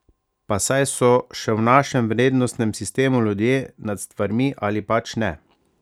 Pa saj so še v našem vrednostnem sistemu ljudje nad stvarmi, ali pač ne?